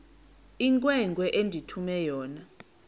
inkwenkwe endithume yona